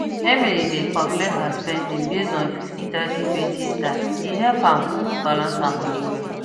emily dey calculate her spending based on five zero three zero two zero style e help am balance her money well